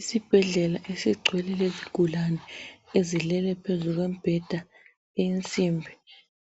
isibhedlela esigcwele lezigulane okulabantu ezilele phezu kombheda eyensimbi